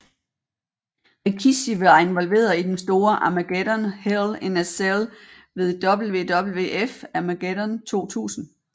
Rikishi var involveret i den store Armageddon Hell in a Cell ved WWF Armageddon 2000